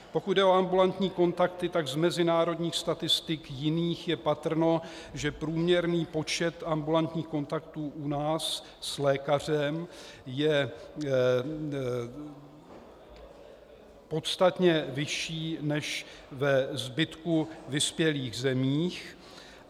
Pokud jde o ambulantní kontakty, tak z mezinárodních statistik jiných je patrno, že průměrný počet ambulantních kontaktů u nás s lékařem je podstatně vyšší než ve zbytku vyspělých zemí.